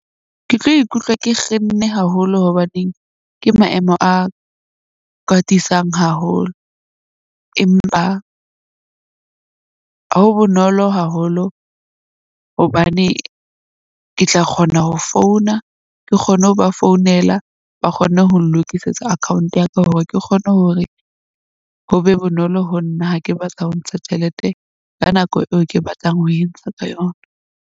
Ke tlo ikutlwa ke kgenne haholo, hobaneng ke maemo a kwatisang haholo. Empa ho bonolo haholo hobane ke tla kgona ho founa. Ke kgone ho ba founela ba kgone ho lokisetsa account ya ka, hore ke kgone hore ho be bonolo ho nna ha ke batla ho ntsha tjhelete ka nako eo ke batlang ho entsha ka yona.